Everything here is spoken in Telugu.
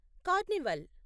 కార్నివాల్